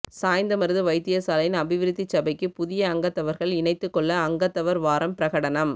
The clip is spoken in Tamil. சாய்ந்தமருது வைத்தியசாலையின் அபிவிருத்திச் சபைக்கு புதிய அங்கத்தவர்கள் இணைத்துக்கொள்ள அங்கத்தவர் வாரம் பிரகடனம்